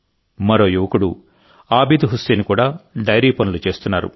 మరో యువకుడు ఆబిద్ హుస్సేన్ కూడా డైరీ పనులు చేస్తున్నారు